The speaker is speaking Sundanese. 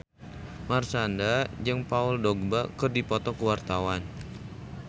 Marshanda jeung Paul Dogba keur dipoto ku wartawan